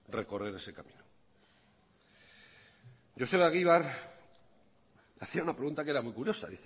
recoger ese camino joseba egibar hacía una pregunta que era muy curiosa